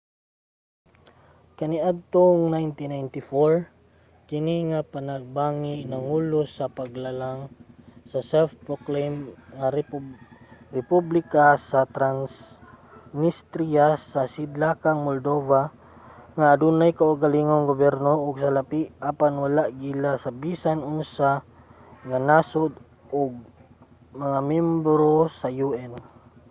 kaniadtong 1994 kini nga panagbangi nangulo sa paglalang sa self-proclaimed nga republika sa transnistria sa sidlakang moldova nga adunay kaugalingong gobyerno ug salapi apan wala giila sa bisan unsa nga nasud nga miyembro sa un